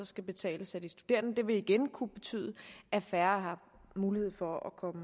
skal betales af de studerende det vil igen kunne betyde at færre har mulighed for at komme